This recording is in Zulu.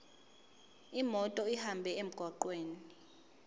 imoto ihambe emgwaqweni